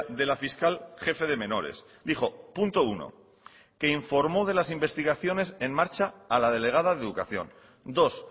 de la fiscal jefe de menores dijo punto uno que informó de las investigaciones en marcha a la delegada de educación dos